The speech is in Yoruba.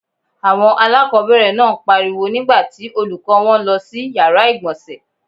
Àwọn aláàkọ́bẹ̀rẹ̀ náà ń pariwo nígbà tí Olùkọ́ọ wọn lọ sí yàrá ìgbọ̀nsẹ̀